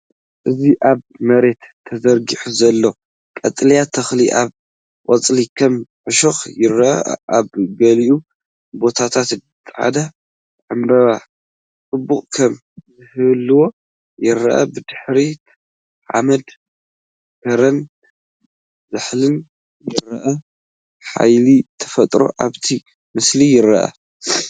እዚ ኣብ መሬት ተዘርጊሑ ዘሎ ቀጠልያ ተኽሊ ኣብ ቆጽሉ ከም እሾኽ ይረአ። ኣብ ገሊኡ ቦታታት ጻዕዳ ዕምባባ ጽባቐ ከም ዚህልዋ ይረአ። ብድሕሪት ሓመድ ከረን ዛሕልን ይረአ፤ ሓይሊ ተፈጥሮ ኣብቲ ምስሊ ይርአ።